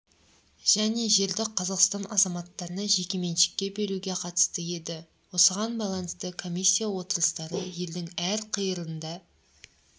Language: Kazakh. және жерді қазақстан азаматтарына жекеменшікке беруге қатысты еді осыған байланысты комиссия отырыстары елдің әр қиырында